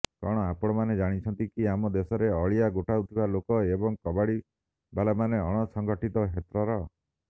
କଣ ଆପଣମାନେ ଜାଣିଛନ୍ତି କି ଆମ ଦେଶରେ ଅଳିଆ ଗୋଟାଉଥିବା ଲୋକ ଏବଂ କବାଡିବାଲାମାନେ ଅଣସଂଗଠିତ କ୍ଷେତ୍ରର